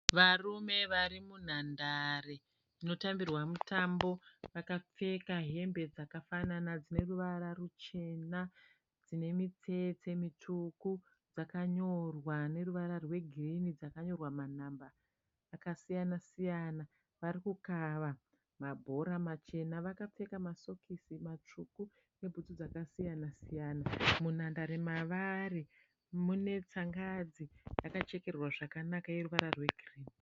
Varume vari munhandare munotambirwa mutambo. Vakapfeka hembe dzakafanana dzine ruvara ruchena. Dzine mitsetse mitsvuku. Dzakanyorwa neruvara rwegirini. Dzakanyorwa manhamba akasiyana-siyana. Vari kukava mabhora machena. Vakapfeka masokisi matsvuku nebhutsu dzakasiyana-siyana. Munhandare mavari mune tsangadzi yakachekererwa zvakanaka yeruvara rwegirini.